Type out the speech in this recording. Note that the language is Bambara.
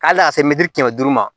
K'ale ka se mɛtiri kɛmɛ duuru ma